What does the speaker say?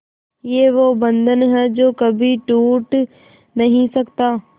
ये वो बंधन है जो कभी टूट नही सकता